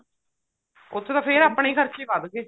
ਉੱਥੇ ਤਾਂ ਫ਼ੇਰ ਆਪਣੇ ਖਰਚੇ ਹੀ ਵੱਧ ਗਏ